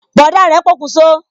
Bọ̀dá rẹ pokun so